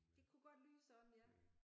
Det kunne godt lyde sådan ja